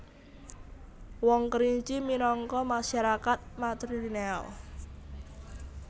Wong Kerinci minangka masarakat matrilineal